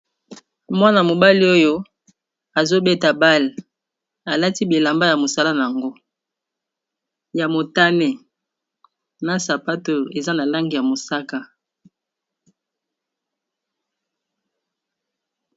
mwana-mobali oyo azobeta bale alati bilamba ya mosala yango ya motane na sapato eza na lange ya mosaka